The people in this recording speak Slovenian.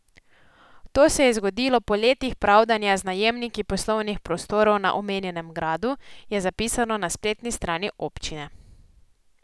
To se je zgodilo po letih pravdanja z najemniki poslovnih prostorov na omenjenem gradu, je zapisano na spletni strani občine.